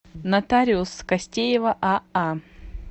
нотариус костеева аа